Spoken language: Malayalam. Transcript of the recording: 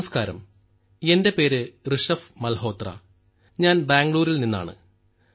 നമസ്ക്കാരം എന്റെ പേര് ഋഷഭ് മൽഹോത്ര ഞാൻ ബാംഗ്ലൂരിൽ നിന്നാണ്